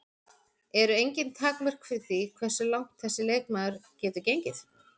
Eru engin takmörk fyrir því hversu langt þessi leikmaður getur gengið?